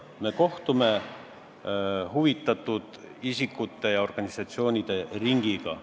Me kohtume huvitatud isikute ja organisatsioonide ringiga.